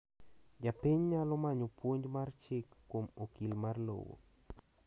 japiny nyalo manyo puonj mar chik kuom okil mar lowo